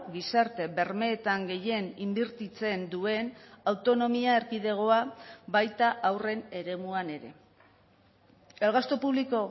gizarte bermeetan gehien inbertitzen duen autonomia erkidegoa baita haurren eremuan ere el gasto público